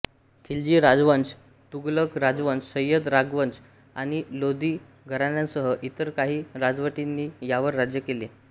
खिल्जी राजवंश तुघलक राजवंश सय्यद राजवंश आणि लोधी घराण्यांसह इतर काही राजवटींनी यावर राज्य केले